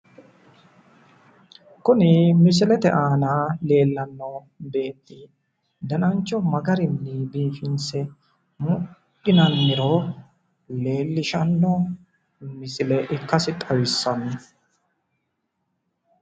Kuni misilete aana leellanno beetti danancho magarinni biifinse mudhinanniro leellishanno misile ikkasi xawissanno.